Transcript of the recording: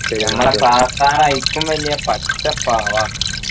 നമ്മളെ sir അയിക്കും വല്യ പച്ച പാവാ